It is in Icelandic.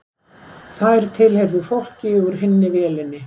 Þær tilheyrðu fólki úr hinni vélinni